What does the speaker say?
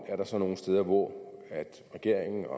er der så nogle steder hvor regeringen og